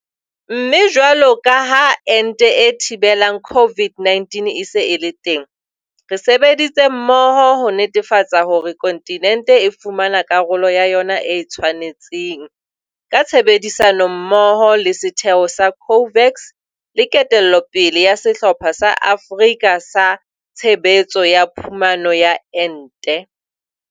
Mme jwalo ka ha ente e thibelang COVID-19 e se e le teng, re sebeditse mmoho ho netefatsa hore kontinente e fumana karolo ya yona e e tshwanetseng, ka tshebedisano mmoho le setheo sa COVAX le ketello pele ya Sehlopha sa Afrika sa Tshebetso ya Phumano ya Ente.